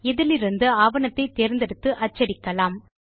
இதிலிருந்து ஆவணத்தை தேர்ந்தெடுத்து அச்சடிக்கலாம்